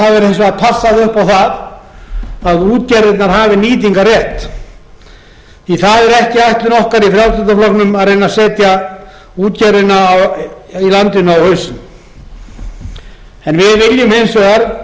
hins vegar passað upp á það að útgerðirnar hafi nýtingarrétt því að það er ekki ætlun okkar í frjálslynda flokknum að reyna að setja útgerðina í landinu á hausinn við viljum hins vegar